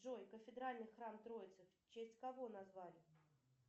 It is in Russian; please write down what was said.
джой кафедральный храм троицы в честь кого назвали